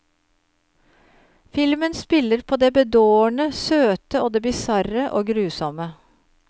Filmen spiller på det bedårende, søte og det bisarre og grusomme.